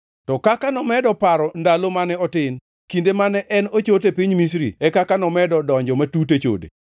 To kaka nomedo paro ndalo mane otin, kinde mane en ochot e piny Misri, e kaka nomedo donjo matut e chode.